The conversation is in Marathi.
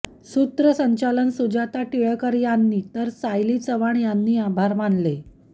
सूत्रसंचालन सुजाता टिळेकर यांनी तर सायली चव्हाण यांनी आभार मानले